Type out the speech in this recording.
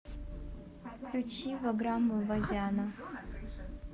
включи ваграма вазяна